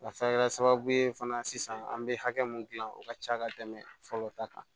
A se kɛra sababu ye fana sisan an bɛ hakɛ mun dilan o ka ca ka tɛmɛ fɔlɔ ta kan